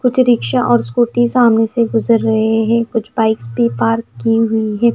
कुछ रिक्शा और स्कूटी सामने से गुजर रहे हैं कुछ बाइक भी पार्क की हुई हैं।